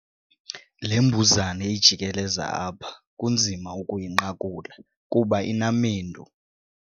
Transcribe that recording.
Le mbuzane ijikeleza apha kunzima ukuyinqakula kuba inamendu.